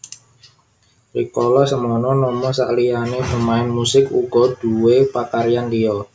Rikala semono Nomo sakliyané pemain music uga duwé pakaryan liya